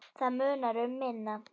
Það munar um minna.